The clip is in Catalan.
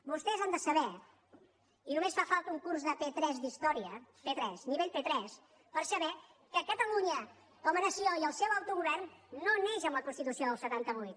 vostès han de saber i només fa falta un curs de p3 d’història p3 nivell p3 per saber que catalunya com a nació i el seu autogovern no neixen amb la constitució del setanta vuit